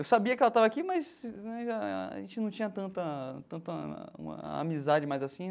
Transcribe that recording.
Eu sabia que ela estava aqui, mas a gente não tinha tanta tanta uma amizade mais assim né.